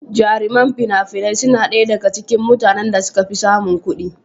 Jarumai fina-finai suna ɗaya daga cikin mutanen da suka fi samun kuɗi.